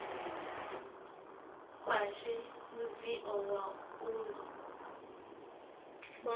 khwashe mudzio wa u no